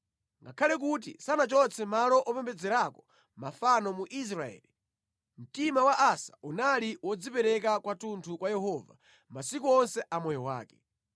Ngakhale kuti sanachotse malo opembedzerako mafano mu Israeli, mtima wa Asa unali wodzipereka kwathunthu kwa Yehova, masiku onse a moyo wake.